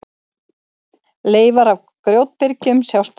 Leifar af grjótbyrgjum sjást enn.